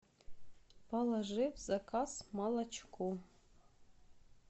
положи в заказ молочко